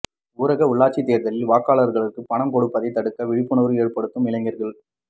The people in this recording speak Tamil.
ஊரக உள்ளாட்சித் தேர்தலில் வாக்காளர்களுக்கு பணம் கொடுப்பதை தடுக்க விழிப்புணர்வு ஏற்படுத்தும் இளைஞர்கள்